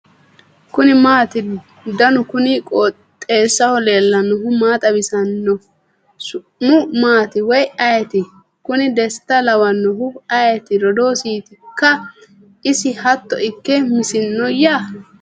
kuni maati ? danu kuni qooxeessaho leellannohu maa xawisanno su'mu maati woy ayeti ? kuni desta lawannohu ayeti rodoosiitikka isi hatto ikke misioiyya ?